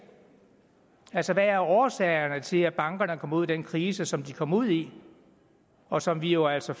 hvad er årsagerne til at bankerne kom ud i den krise som de kom ud i og som vi jo altså